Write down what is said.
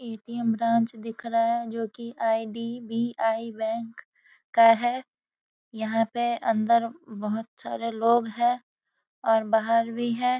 ATM. Branch दिख रहा है जो कि आई.डी.बी.आई. बैंक का है यहां पे अंदर बहुत सारे लोग है और बाहर भी है।